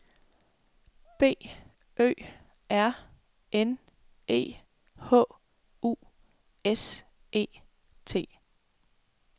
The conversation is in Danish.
B Ø R N E H U S E T